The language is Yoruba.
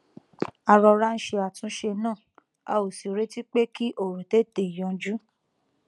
a rọra ń ṣe àtúnṣe náà a ò sì retí pé kí òrò tètè yanjú